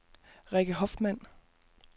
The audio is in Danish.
Rikke Hoffmann